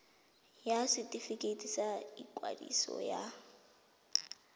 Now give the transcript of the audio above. ya setefikeiti sa ikwadiso ya